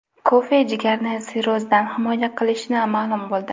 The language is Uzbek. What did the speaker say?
Kofe jigarni sirrozdan himoya qilishi ma’lum bo‘ldi.